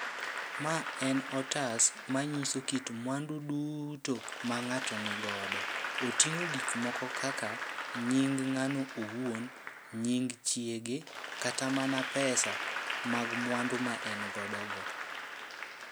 Ma en otas ma nyiso kit mwandu duto ma ng'ato nigodo. Oting'o gik moko kaka nying ng'ano owuon, nying chiege, kata mana pesa mag mwandu ma en godo go.